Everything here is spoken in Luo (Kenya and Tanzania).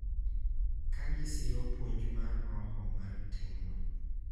Kagisiro puonj mar roho mar timno.